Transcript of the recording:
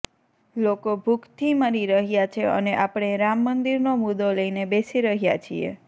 લોકો ભૂખથી મરી રહ્યા છે અને આપણે રામ મંદિરનો મુદ્દો લઇને બેસી રહ્યા છીએ